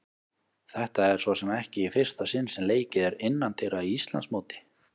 Þetta er svo sem ekki í fyrsta sinn sem leikið er innandyra í Íslandsmóti.